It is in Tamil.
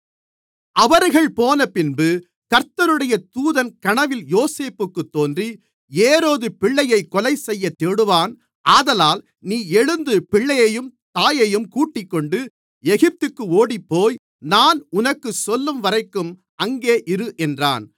அவர்கள் போனபின்பு கர்த்தருடைய தூதன் கனவில் யோசேப்புக்குத் தோன்றி ஏரோது பிள்ளையைக் கொலைசெய்யத் தேடுவான் ஆதலால் நீ எழுந்து பிள்ளையையும் தாயையும் கூட்டிக்கொண்டு எகிப்துக்கு ஓடிப்போய் நான் உனக்குச் சொல்லும்வரைக்கும் அங்கே இரு என்றான்